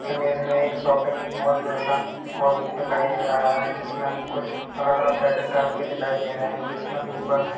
image में एक shopping mall जैसा दिखाई दे रहा है जिसमे अलग अलग कुछ पैकेट टाइप के दिखाई दे रहे है जिसमे ऊपर---